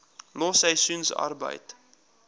los seisoensarbeid